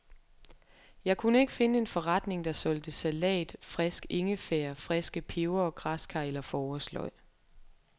Jeg kunne ikke finde en forretning, der solgte salat, frisk ingefær, friske pebere, græskar, eller forårsløg.